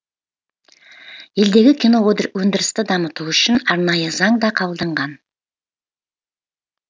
елдегі киноөндірісті дамыту үшін арнайы заң да қабылданған